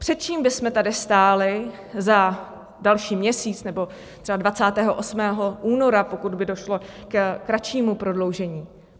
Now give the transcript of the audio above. Před čím bychom tady stáli za další měsíc nebo třeba 28. února, pokud by došlo ke kratšímu prodloužení?